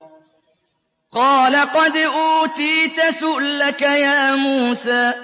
قَالَ قَدْ أُوتِيتَ سُؤْلَكَ يَا مُوسَىٰ